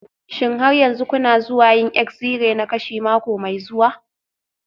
Shin har yanzu kuna zuwa yin exi-ray na kashi mako mai zuwa?